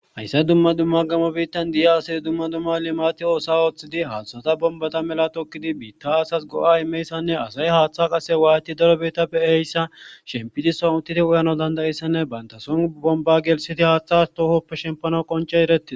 Hsyssay dumma dumma gamo biittan di7a asi dumma dumma limati oosa ooththidi haathushata bombata mela tokkidi biitta asas go7a imeyssanne asay haaththa qase waayti daro biittappe eyssa shempidison uttiti uyano dandayissanne bayntason bomba gelsiti haaththas toohoppe shempano qonce erettii.